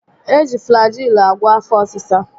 E ji Flajịịlụ agwo afọ ọsịsa